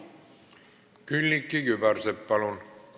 Külliki Kübarsepp, palun!